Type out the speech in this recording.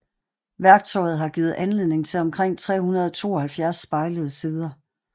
Værktøjet har givet anledning til omkring 372 spejlede sider